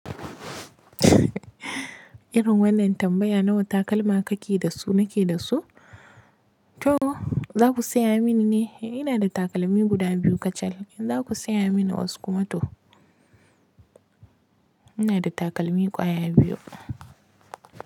Irin wannan tambaya nawa takalma ka ki da su nake da su? To, za ku saya mini ne? Ina da takalmi guda biyu kacal. In za ku saya mini wasu kuma to. Ina da takalmi kwaya biyu.